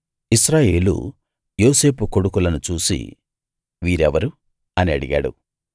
ఇశ్రాయేలు యోసేపు కొడుకులను చూసి వీరెవరు అని అడిగాడు